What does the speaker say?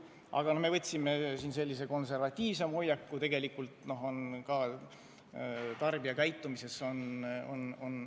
Aga me võtsime sellise konservatiivsema hoiaku, et tegelikult on tarbija käitumises elastsust.